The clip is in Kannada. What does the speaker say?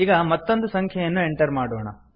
ಈಗ ಮತ್ತೊಂದು ಸಂಖ್ಯೆಯನ್ನು ಎಂಟರ್ ಮಾಡೋಣ